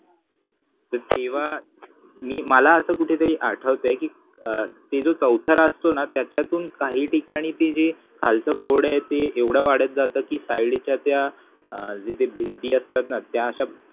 तर तेव्हा मी मला असं कुठेतरी आठवतंय कि ते जो चौथरा असतो ना त्याच्यातून काही ठिकाणी ते जे खालचं खोड आहे ते एव्हडं वाढत जातं कि side च्या त्या अं जिथे भिंती असतात ना त्या अश्या